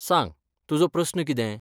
सांग, तुजो प्रस्न कितें?